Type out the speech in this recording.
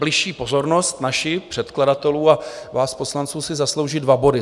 Bližší pozornost naši, předkladatelů a vás poslanců, si zaslouží dva body.